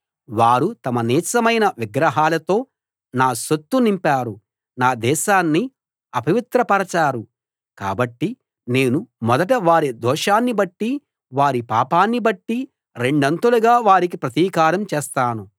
వాళ్ళు తమ నీచమైన విగ్రహాలతో నా సొత్తు నింపారు నా దేశాన్ని అపవిత్రపరచారు కాబట్టి నేను మొదట వారి దోషాన్ని బట్టి వారి పాపాన్ని బట్టి రెండంతలుగా వారికి ప్రతీకారం చేస్తాను